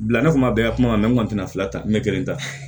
Bila ne kun ma bɛn ka kuma mɛ n kun tɛna fila ta n bɛ kelen ta